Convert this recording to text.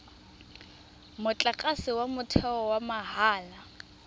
motlakase wa motheo wa mahala